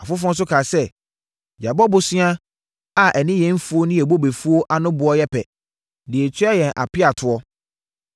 Afoforɔ nso kaa sɛ, “Yɛabɔ bosea a ɛne yɛn mfuo ne bobefuo ano boɔ yɛ pɛ, de atua yɛn apeatoɔ.